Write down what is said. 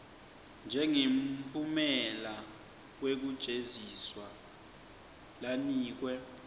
njengemphumela wekujeziswa lanikwe